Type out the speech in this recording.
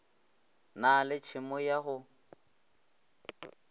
na le tšhemo ya go